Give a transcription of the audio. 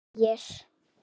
Hann þegir.